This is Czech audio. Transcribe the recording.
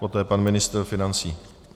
Poté pan ministr financí.